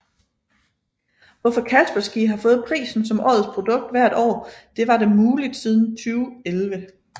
Hvorfor Kaspersky har fået prisen som årets produkt hvert år det var dem muligt siden 2011